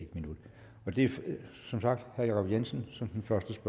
minut det er som sagt herre jacob jensen som den første